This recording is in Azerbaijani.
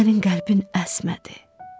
Sənin qəlbin əsmədi.